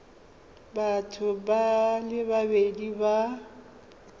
batho ba le babedi ba